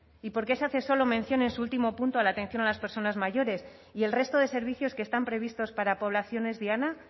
y por qué se hace solo mención en su último punto a la atención a las personas mayores y el resto de servicios que están previstos para poblaciones diana